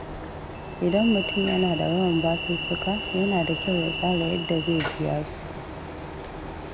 Idan mutum yana da yawan basussuka, yana da kyau ya tsara yadda zai biya su.